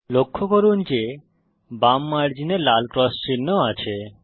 লক্ষ্য করুন যে বাম মার্জিনে লাল ক্রস চিহ্ন আছে